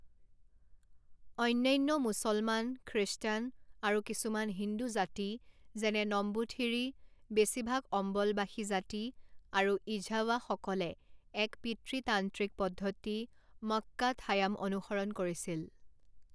অন্যান্য মুছলমান, খ্ৰীষ্টান, আৰু কিছুমান হিন্দু জাতি যেনে নম্বুথিৰী, বেছিভাগ অম্বলবাসী জাতি আৰু ইঝাৱাসকলে এক পিতৃতান্ত্ৰিক পদ্ধতি, মক্কাথায়াম অনুসৰণ কৰিছিল।